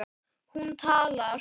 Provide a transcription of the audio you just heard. Hún talar.